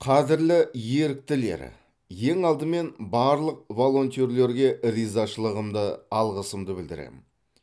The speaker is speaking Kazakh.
қадірлі еріктілер ең алдымен барлық волонтерлерге ризашылығымды алғысымды білдіремін